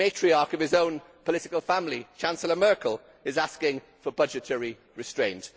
The matriarch of his own political family, Chancellor Merkel, is asking for budgetary restraint.